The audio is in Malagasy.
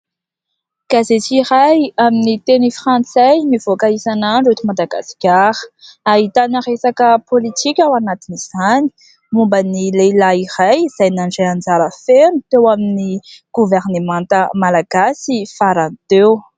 Gazety iray amin'ny teny frantsay mivoaka isan'andro eto Madagasikara, ahitana resaka politika ao anatin'izany momban'ny lehilahy iray izay nandray anjara feno teo amin'ny Governemanta malagasy farany teo.